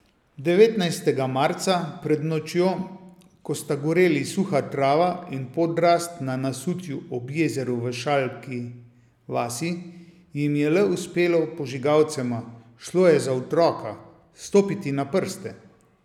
Devetnajstega marca pred nočjo, ko sta goreli suha trava in podrast na nasutju ob jezeru v Šalki vasi, jim je le uspelo požigalcema, šlo je za otroka, stopiti na prste.